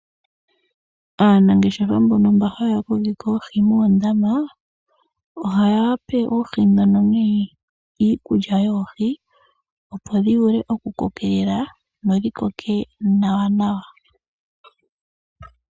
Aanangeshefa mbono mba haya kokitha oohi moondama ohaya pe oohi dhono nee iikulya yoohi opo dhivule oku kokelela nawa.